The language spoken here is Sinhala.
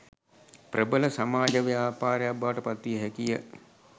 ප්‍රබල සමාජ ව්‍යාපාරයක් බවට පත් විය හැකිය